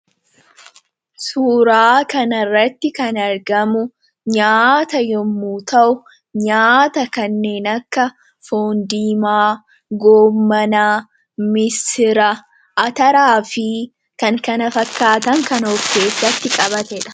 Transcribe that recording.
suuraa kanirratti kan argamu nyaata yommuu ta'u nyaata kanneen akka foon diimaa, goommanaa, misira, ataraa fi kan kana fakkaatan kan of keessatti qabatedha.